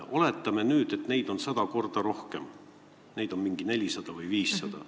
Oletame nüüd, et neid on sada korda rohkem, 400 või 500.